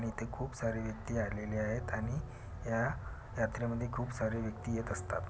इथे खूप सारे व्यक्ति आलेल्या आहेत आणि या यात्रेमध्ये खूप सारे व्यक्ति येत असतात.